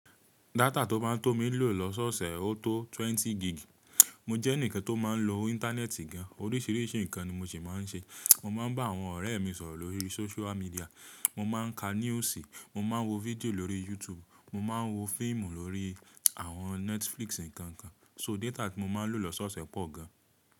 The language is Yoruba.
Data tó maa ń tó mii lò lọ́sọ̀ọ̀sẹ̀ ó tó twenty gig. Mo jẹ́ ẹnìkan tó máa ń lo íńtánẹ́ẹ̀tì gan, oríṣìíríṣìí nǹkan ni mo ṣi máa ń ṣe. Mo máa ń bá àwọn ọ̀rẹ́ mi sọ̀rọ̀ lórí sóṣúà míḍíà, mo máa ń ka newsi, mo máa ń wo video lórí YouTube, mo máa ń wo fíìmù lórí àwọn Netflix ǹkan nkan. So data tí mo máa ń lò lọ́sọ̀ọ̀sẹ̀ pọ̀ gan.